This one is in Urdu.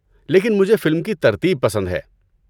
لیکن مجھے فلم کی ترتیب پسند ہے۔